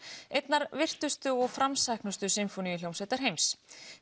einnar virtustu og framsæknustu sinfóníuhljómsveitar heims